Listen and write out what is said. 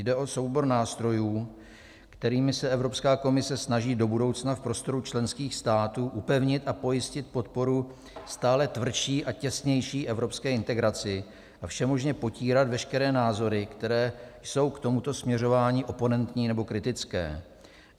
Jde o soubor nástrojů, kterými se Evropská komise snaží do budoucna v prostoru členských států upevnit a pojistit podporu stále tvrdší a těsnější evropské integraci a všemožně potírat veškeré názory, které jsou k tomuto směřování oponentní nebo kritické.